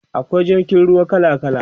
akwai jirgin ruwa kala kala